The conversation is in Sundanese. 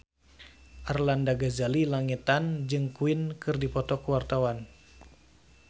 Arlanda Ghazali Langitan jeung Queen keur dipoto ku wartawan